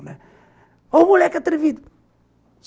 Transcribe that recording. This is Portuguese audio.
Olha o moleque atrevido.